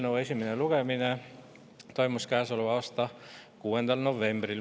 Eelnõu esimene lugemine toimus käesoleva aasta 6. novembril.